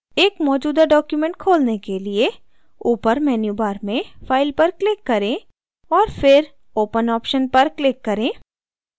एक मौजूदा document खोलने के लिए ऊपर मेन्यूबार में file पर click करें और फिर open option पर click करें